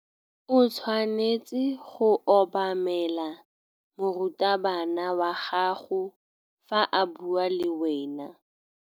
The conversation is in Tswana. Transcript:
O tshwanetse go obamela morutabana wa gago fa a bua le wena.